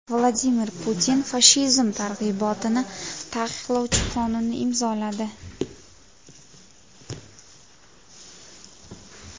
Vladimir Putin fashizm targ‘ibotini taqiqlovchi qonunni imzoladi.